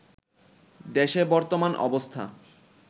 দেশের বর্তমান অবস্থা